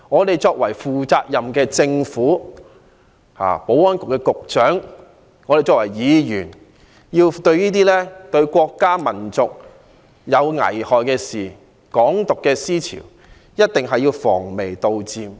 身為負責任的政府的官員，保安局局長與身為議員的我們，對於危害國家民族的事情、"港獨"的思潮，必須防微杜漸。